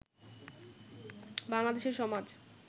বাংলাদেশের সমাজ